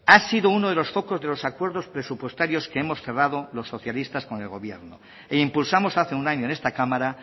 ha sido uno de los focos de los acuerdos presupuestarios que hemos cerrado los socialistas con el gobierno e impulsamos hace un año en esta cámara